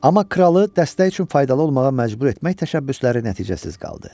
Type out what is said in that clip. Amma kralı dəstək üçün faydalı olmağa məcbur etmək təşəbbüsləri nəticəsiz qaldı.